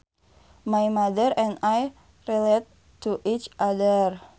My mother and I are related to each other